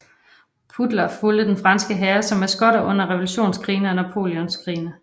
Pudler fulgte de franske hære som maskotter under Revolutionskrigene og Napoleonskrigene